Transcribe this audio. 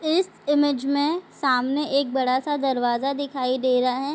इस इमेज में सामने एक बड़ा सा दरवाजा दिखाई दे रहा है।